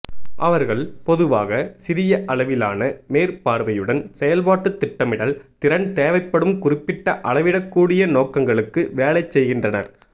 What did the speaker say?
அவர்கள் பொதுவாக சிறிய அளவிலான மேற்பார்வையுடன் செயல்பாட்டு திட்டமிடல் திறன் தேவைப்படும் குறிப்பிட்ட அளவிடக்கூடிய நோக்கங்களுக்கு வேலை செய்கின்றனர்